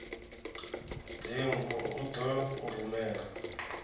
dzingu u ḓo u rumela